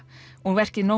og verkið no